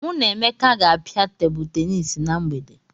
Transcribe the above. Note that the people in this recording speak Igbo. Mụ na Emeka ga-apịa Tebụl tenis na mgbede.